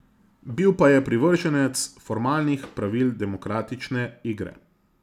Bil pa je privrženec formalnih pravil demokratične igre.